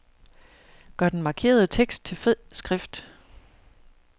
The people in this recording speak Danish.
Gør den markerede tekst til fed skrift.